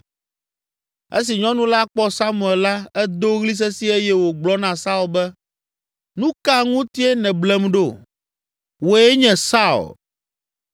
Esi nyɔnu la kpɔ Samuel la, edo ɣli sesĩe eye wògblɔ na Saul be, “Nu ka ŋutie nèblem ɖo? Wòe nye Saul!”